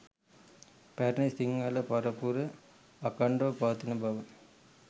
පැරණි සිංහල පරපුර අඛණ්ඩව පවතින බව